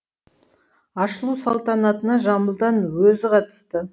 ашылу салтанатына жамбылдың өзі қатысты